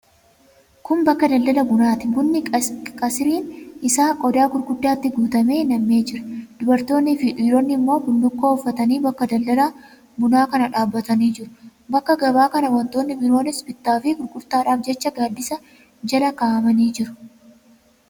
Kun bakka daldala bunaati. Bunni qisiriin isaa qodaa gurguddaatti guutamee nam'ee jira. Dubartoonnii fi dhiironni immoo bullukkoo uffatanii bakka daldala bunaa kana dhaabbatanii jiru. Bakka gabaa kana wantoonnii biroonis bittaa fi gurgurtaadhaaf jecha gaaddisa jala kaa'amanii jiru.